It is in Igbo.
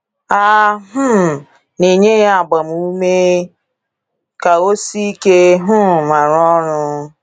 A um na-enye ya agbamume ime ka o “sie ike um ma rụọ ọrụ.”